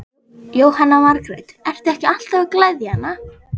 Jóhanna Margrét: Ertu ekki alltaf að gleðja hana?